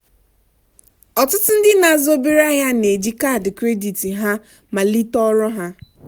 ọtụtụ ndị na-azụ obere ahịa na-eji ego kaadị kredit ha malite ọrụ ha.